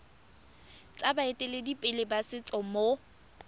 tsa baeteledipele ba setso mo